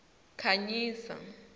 khanyisa